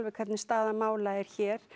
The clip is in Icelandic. hvernig staðan nákvæmlega er hér